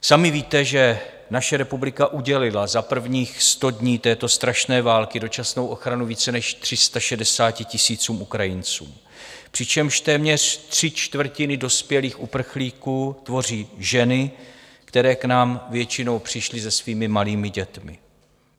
Sami víte, že naše republika udělila za prvních sto dní této strašné války dočasnou ochranu více než 360 tisícům Ukrajinců, přičemž téměř tři čtvrtiny dospělých uprchlíků tvoří ženy, které k nám většinou přišly se svými malými dětmi.